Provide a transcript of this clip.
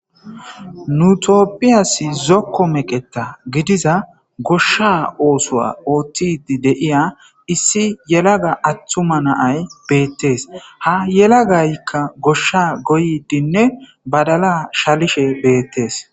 Nu tophiyasi zoko meqetha gidiza gosha osuwa otididiya issi atuma yelaga na,ayi betees ha yelagayika gosha goyidinne badala shalishe betees